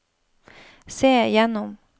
se gjennom